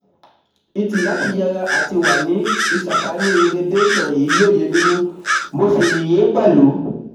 Ìtì láti yẹra àti wà ní ìsàkánì radiation yìi lóye nínú mo sì yìn yín pẹ̀lú